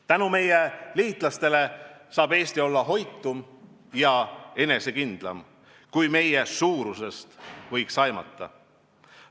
Tänu meie liitlastele saab Eesti olla hoitum ja enesekindlam, kui meie suuruse põhjal võiks eeldada.